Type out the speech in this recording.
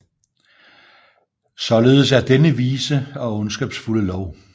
Således er denne vise og ondskabsfulde lov